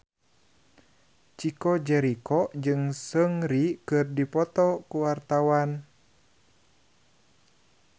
Chico Jericho jeung Seungri keur dipoto ku wartawan